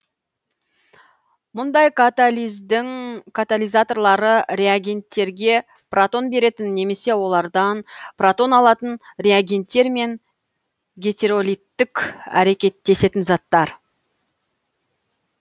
мұндай катализдің катализаторлары реагенттерге протон беретін немесе олардан протон алатын реагенттер мен гетеролиттік әрекеттесетін заттар